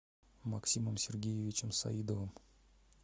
максимом сергеевичем саидовым